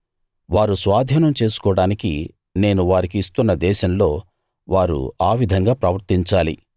వారు స్వాధీనం చేసుకోడానికి నేను వారికి ఇస్తున్న దేశంలో వారు ఆ విధంగా ప్రవర్తించాలి